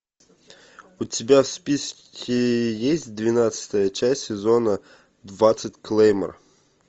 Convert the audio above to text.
у тебя в списке есть двенадцатая часть сезона двадцать клеймор